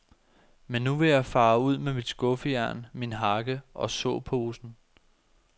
Men nu vil jeg fare ud med mit skuffejern, min hakke og såposen.